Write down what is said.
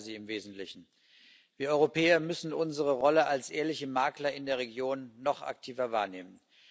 Ich teile sie im Wesentlichen. Wir Europäer müssen unsere Rolle als ehrliche Makler in der Region noch aktiver wahrnehmen.